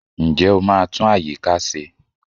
Ǹjẹ́ o máa tún àyíká ṣe?